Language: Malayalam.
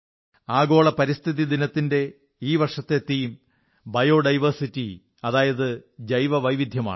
ആഗോള പരിസ്ഥിതി ദിനത്തിൽ ഈ വർഷം തീം ബയോ ഡൈവേഴ്സിറ്റി അതായത് ജൈവ വൈവിധ്യമാണ്